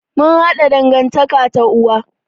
Mun haɗa dangantaƙa ta uwa.